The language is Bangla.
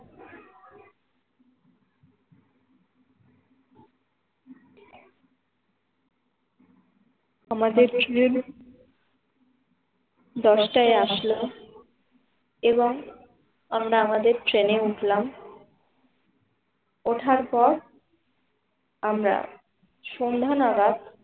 আমাদের train দশটায় আসলো এবং আমাদের ট্রেনে উঠলাম ওঠার পর আমরা সন্ধ্যা নাগাত